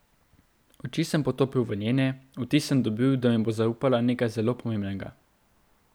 Oči sem potopil v njene, vtis sem dobil, da mi bo zaupala nekaj zelo pomembnega.